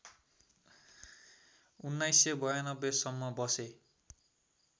१९९२ सम्म बसे